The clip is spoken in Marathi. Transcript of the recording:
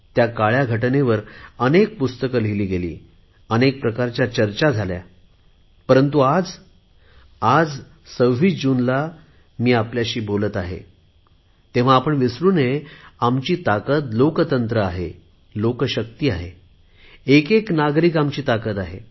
त्या काळ्या घटनेवर अनेक पुस्तके लिहिली गेली अनेक प्रकारच्या चर्चा झाल्या परंतु आज 26 जूनला मी आपल्याशी बोलत आहे तेव्हा आपण विसरु नये आमची ताकद लोकशाही आहे लोकशक्ती आहे एक एक नागरिक आमची ताकद आहे